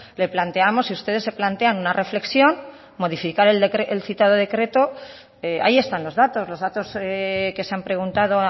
le planteamos si ustedes se plantean una reflexión modificar el citado decreto ahí están los datos los datos que se han preguntado